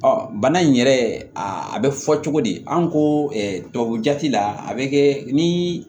bana in yɛrɛ a bɛ fɔ cogo di an ko tubabujati la a bɛ kɛ ni